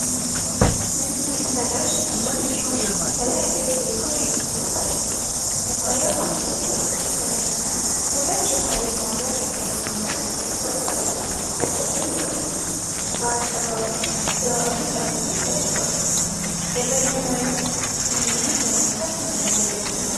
ነጭ ተንቀሳቃሽ ሞደም ሲሆን ከላይ “ኢትዮ ቴሌኮም” የሚል ጽሑፍ አለበት። መሳሪያው መሃል ላይ ጥቁር ስክሪን እና ከታች የኃይል ማብሪያ/ማጥፊያ ቁልፍ አለው። በስተቀኝ በኩል በአቀባዊ "HUAWEI" ተብሎ ተጽፏል። የበይነመረብ ግንኙነት ለመፍጠር የሚያገለግል ነው።